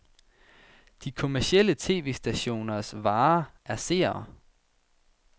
De kommercielle tv-stationers vare er seere.